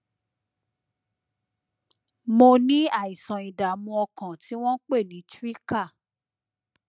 mo ní àìsàn ìdààmú ọkàn tí wọn ń pè ní trika